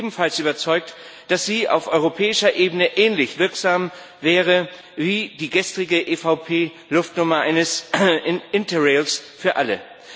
Und ich bin ebenfalls überzeugt, dass sie auf europäischer Ebene ähnlich wirksam wäre wie die gestrige EVP Luftnummer eines Interrail Tickets für alle.